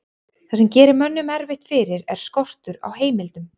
það sem gerir mönnum erfitt fyrir er skortur á heimildum